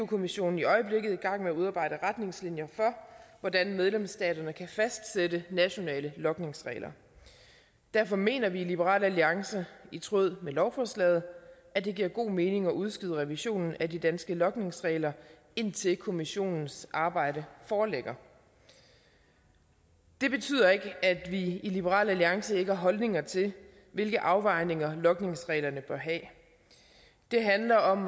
kommissionen i øjeblikket i gang med at udarbejde retningslinjer for hvordan medlemsstaterne kan fastsætte nationale logningsregler derfor mener vi i liberal alliance i tråd med lovforslaget at det giver god mening at udskyde revisionen af de danske logningsregler indtil kommissionens arbejde foreligger det betyder ikke at vi i liberal alliance ikke har holdninger til hvilke afvejninger logningsreglerne bør have det handler om